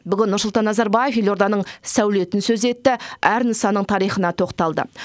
бүгін нұрсұлтан назарбаев елорданың сәулетін сөз етті әр нысанның тарихына тоқталды